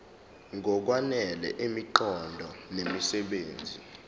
ngokwanele imiqondo nemisebenzi